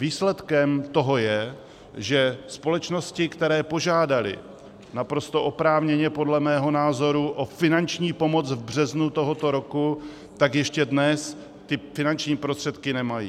Výsledkem toho je, že společnosti, které požádaly naprosto oprávněně podle mého názoru o finanční pomoc v březnu tohoto roku, tak ještě dnes ty finanční prostředky nemají.